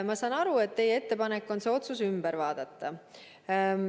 Ma saan aru, et teie ettepanek on see otsus uuesti üle vaadata.